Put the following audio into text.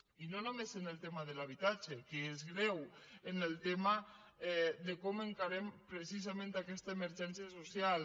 i no només en el tema de l’habitatge que és greu en el tema de com encarem precisament aquesta emergència social